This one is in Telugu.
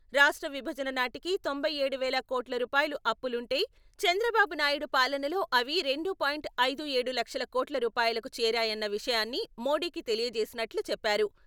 రాష్ట్ర విభజన నాటికి తొంభై ఏడు వేల కోట్ల రూపాయలు అప్పులుంటే, చంద్రబాబు నాయుడు పాలనలో అవి రెండు పాయింట్ ఐదు ఏడు లక్షల కోట్ల రూపాయలుకు చేరాయన్న విషయాన్ని మోడీకి తెలియచేసినట్లు చెప్పారు.